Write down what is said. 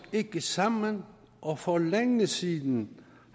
ikke sammen og for længe siden